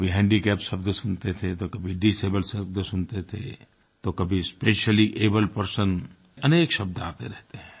कभी हैंडीकैप्ड शब्द सुनते थे तो कभी डिसेबल शब्द सुनते थे तो कभी स्पेशली एबल्ड पर्सन्स अनेक शब्द आते रहते हैं